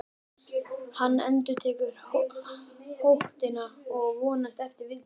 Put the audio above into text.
Hann endurtekur hótunina og vonast eftir viðbrögðum.